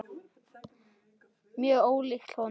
Mjög ólíkt honum.